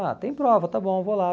Ah, tem prova, está bom, vou lá.